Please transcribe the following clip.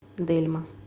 дельма